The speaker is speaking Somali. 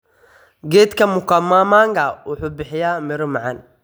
Geedka mkomamanga wuxuu bixiya miro macaan.